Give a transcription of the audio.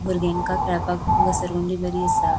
भुर्ग्यांका खेळपाक घसरगुंडी बरी आसा.